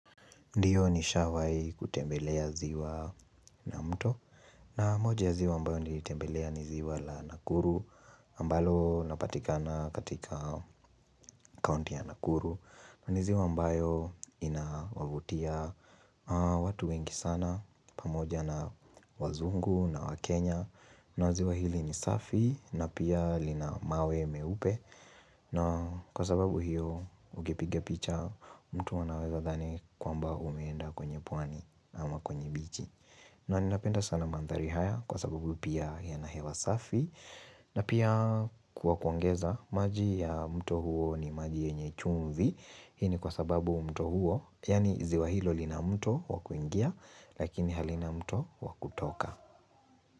Ndiyo nishawai kutembelea ziwa na mto na moja ya ziwa ambayo nilitembelea ni ziwa la nakuru ambalo linapatikana katika kaunti ya nakuru ni ziwa mbayo inawavutia watu wengi sana pamoja na wazungu na wakenya na ziwa hili ni safi na pia lina mawe meupe na kwa sababu hiyo ukipiga picha mtu anaweza dhani kwamba umeenda kwenye pwani ama kwenye bichi na ninapenda sana mandhari haya kwa sababu pia yana hewa safi na pia kwa kuongeza maji ya mto huo ni maji yenye chumvi Hii ni kwa sababu mto huo yaani ziwa hilo lina mto wa kuingia lakini halina mto wa kutoka.